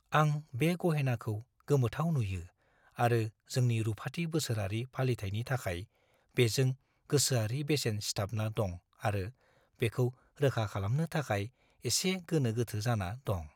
आं बे गहेनाखौ गोमोथाव नुयो आरो जोंनि रुफाथि बोसोरारि फालिथायनि थाखाय बेजों गोसोआरि बेसेन सिथाबना दं आरो बेखौ रोखा खालामनो थाखाय एसे गोनो-गोथो जाना दं।